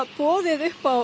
boðið upp á